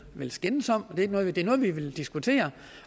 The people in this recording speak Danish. skændes om det er noget vi vil diskutere